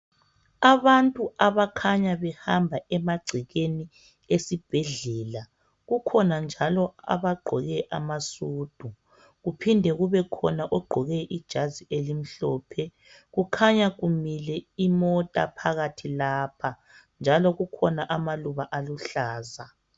Abantu abakhanya behamba emagcekeni esibhedlela. Kukhona njalo abagqoke amasudu kuphinde kubekhona ogqoke ijazi elimhlophe. Kukhanya kumile imota phakathi lapha njalo kukhona amaluba aluhlaza